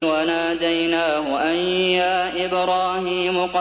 وَنَادَيْنَاهُ أَن يَا إِبْرَاهِيمُ